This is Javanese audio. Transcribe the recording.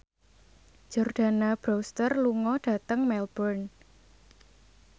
Jordana Brewster lunga dhateng Melbourne